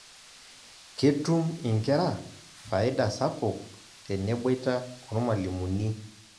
Ketum inkera faida sapuk teneboita ormalimuni.